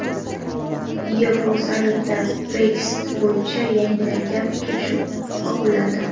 Yevrosammitda Brexit bo‘yicha yangilangan kelishuv ma’qullandi.